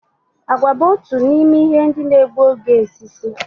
Àgwà bu otu n'ime ihe ndị na-egbu oge osisi